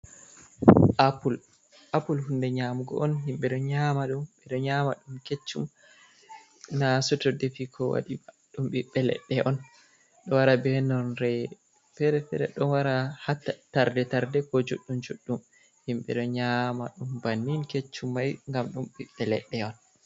Apul, apul hunde nyamugo on. Himɓe ɗo nyama ɗum, ɓe ɗo nyama ɗum keccum na soto defi ko waɗi ba... ɗum ɓiɓɓe leɗɗe on. Ɗo wara be nonre fere-fere, ɗo wara ha tarde-tarde ko judɗum-juɗɗum. Himɓe ɗo nyama ɗum bannin keccum mai, ngam ɗum ɓiɓɓe leɗɗe on.